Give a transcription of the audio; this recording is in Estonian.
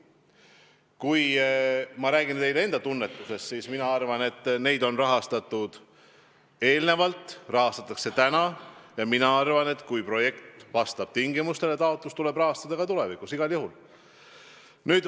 Kui ma teile enda tunnetusest lähtuvalt vastan, siis ma arvan, et LGBT-d on rahastatud enne, rahastatakse täna ja kui projekt vastab tingimustele, siis tuleb taotlust igal juhul rahastada ka tulevikus.